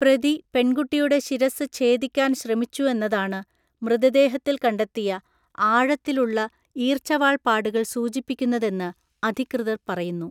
പ്രതി പെൺകുട്ടിയുടെ ശിരസ്സ് ഛേദിക്കാൻ ശ്രമിച്ചു എന്നതാണ് മൃതദേഹത്തിൽ കണ്ടെത്തിയ ആഴത്തിലുള്ള ഈര്‍ച്ചവാള്‍ പാടുകൾ സൂചിപ്പിക്കുന്നതെന്ന് അധികൃതർ പറയുന്നു.